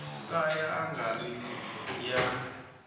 ka ya nga ri ya